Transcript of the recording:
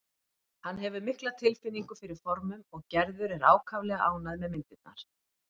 Hann hefur mikla tilfinningu fyrir formum og Gerður er ákaflega ánægð með myndirnar.